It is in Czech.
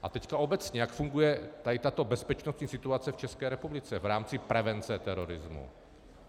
A teď obecně, jak funguje tato bezpečnostní situace v České republice v rámci prevence terorismu?